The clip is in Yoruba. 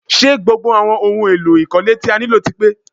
Ṣé gbogbo àwọn ohun èlò ìkọ́lé tí a nílò ti pe?